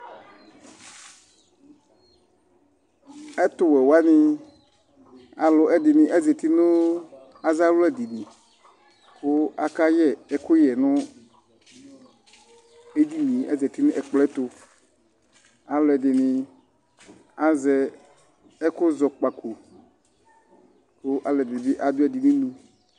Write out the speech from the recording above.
Ɛtuwɛ wani aluɛdini zati nu aza wla dinyi ku akayɛ ɛkuyɛ nu edinie azati nu ɛkplɔ yɛtu aluɛdini azɛ ɛkuzɔkpako ku aluɛdini adu ɛdi nu inu